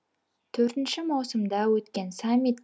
төртінші маусымда өткен саммит